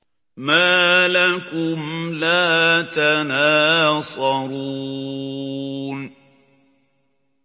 مَا لَكُمْ لَا تَنَاصَرُونَ